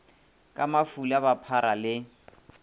ka mafula ba phara le